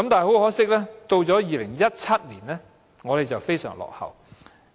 可惜，到了2017年，我們成為非常落後的地方。